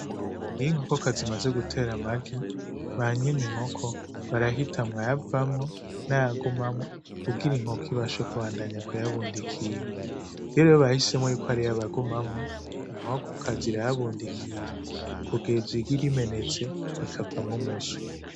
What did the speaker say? Iyo inkokokazi imaze gutera amagi banyene inkoko barahitamwo ayavamwo n'ayagumamwo kugira inkoko ibashe kubandanya k'uyabundikira, iyo rero bahisemwom ko agumamwo inkokokazi irayabundikira kugeza igi rimenetse rikavamwo umuswi.